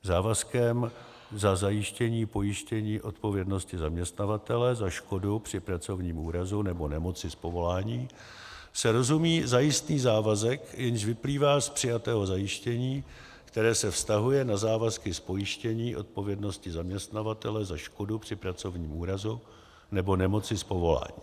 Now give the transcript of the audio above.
Závazkem za zajištění pojištění odpovědnosti zaměstnavatele za škodu při pracovním úrazu nebo nemoci z povolání se rozumí zajistný závazek, jenž vyplývá z přijatého zajištění, které se vztahuje na závazky z pojištění odpovědnosti zaměstnavatele za škodu při pracovním úrazu nebo nemoci z povolání.